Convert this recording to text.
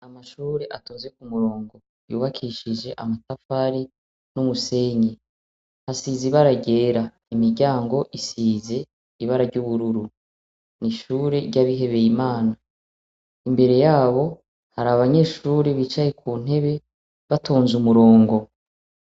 Amashure atonze ku murongo yubakishije amatafari n'umusenyi hasize ibara ryera imiryango isize ibara ry'ubururu ni ishure ry'abihebeye imana imbere yabo hari abanyeshure bicaye ku ntebe batonze umurongo.